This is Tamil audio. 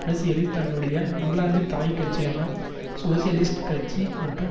அரசியலில் தன்னுடைய இங்கிலாந்து தாய்க்கட்சியான சோசியலிஸ்ட் கட்சி மற்றும்